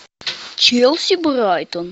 челси брайтон